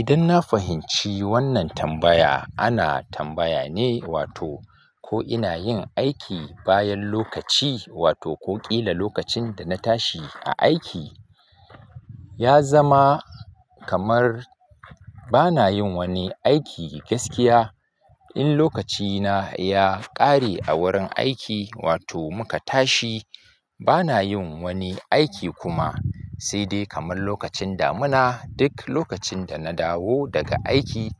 Idan na fahimci wannan tambaya, ana tambaya ne wato ko ina yin aiki bayan lokaci wato ko ƙila lokacin da na tashi a aiki ya zama kamar bana yin wani aiki gaskiya. In lokacina ya ƙare a wurin aiki wato muka tashi, bana yin wani aiki kuma sai dai kamar lokacin damina. Duk lokacin da na dawo daga aiki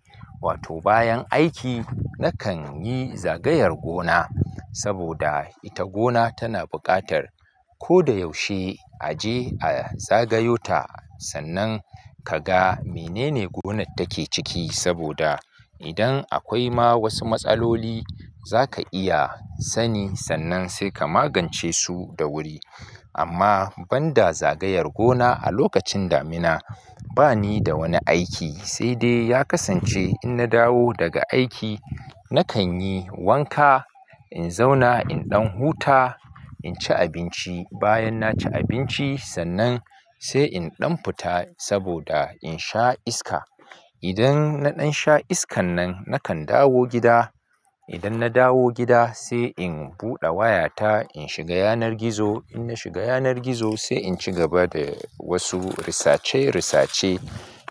wato bayan aiki, nakan yi zagayar gona saboda ita gona tana buƙatar ko da yaushe a je a zagayota sannan ka ga menene gonar take ciki saboda idan akwai ma wasu matsaloli za ka iya sani sannan sai ka magance su da wuri. Amma ban da zagayar gona a lokacin damina bani da wani aiki sai dai ya kasance in na dawo daga aiki nakan yi wanka, in zauna, in ɗan huta, in ci abinci. Bayan na ci abinci sannan sai in ɗan fita saboda in sha iska. Idan na ɗan sha iskan nan nakan dawo gida. Idan na dawo gida sai in buɗe wayata, in shiga yanar gizo. In na shiga yanar gizo sai in ci gaba da wasu risacewarisace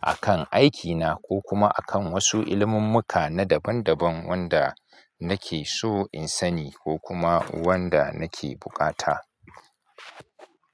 a kan aikina ko kuma a kan wasu ilimummuka na daban daban wanda nake so in sani ko kuma wanda nake buƙata.